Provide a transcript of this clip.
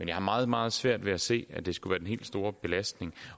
jeg har meget meget svært ved at se at det skulle være den helt store belastning